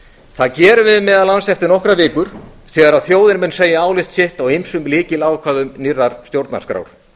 það gerum við meðal annars eftir nokkrar vikur þegar þjóðin mun segja álit sitt á ýmsum lykilákvæðum nýrrar stjórnarskrár